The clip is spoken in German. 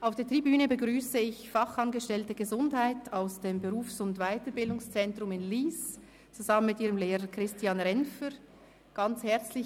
Auf der Tribüne begrüsse ich herzlich hier im Grossen Rat Fachangestellte Gesundheit aus dem Berufs- und Weiterbildungszentrum (WBZ) Lyss zusammen mit ihrem Lehrer Christian Renfer.